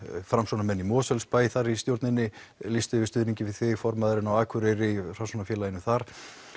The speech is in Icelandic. Framsóknarmenn í Mosfellsbæ þar í stjórninni lýst yfir stuðningi við þig formaðurinn á Akureyri í Framsóknarfélaginu þar